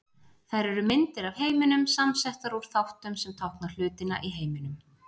Þær eru myndir af heiminum, samsettar úr þáttum sem tákna hlutina í heiminum.